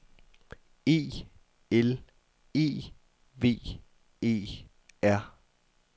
E L E V E R